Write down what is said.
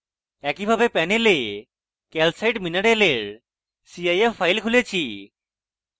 একইভাবে panel calcite mineral cif file খুলেছি